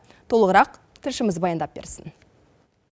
толығырақ тілшіміз баяндап берсін